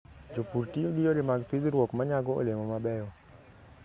Jopur tiyo gi yore mag pidhruok ma nyago olemo mabeyo.